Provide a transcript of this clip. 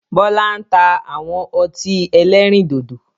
Bọlá ń ta àwọn ọtí ẹlẹ́rìndòdò